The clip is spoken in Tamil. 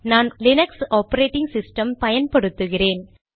நான் லீனக்ஸ் ஆபரேடிங் சிஸ்டம் பயன்படுத்துகிறேன்